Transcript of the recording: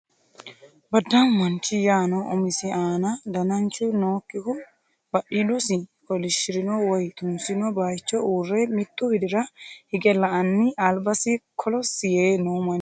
Baddaamu manchi yaano umisi aana dananchu nookkihu badhiidosi kolishirino woy tunsino baayicho uurre mittu widira hige la"anni albasi kolossi yee noo manchooti.